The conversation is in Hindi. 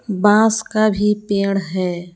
बांस का भी पेड़ है।